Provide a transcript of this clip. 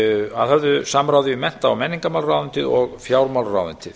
að höfðu samráði við mennta og menningarmálaráðuneytið og fjármálaráðuneytið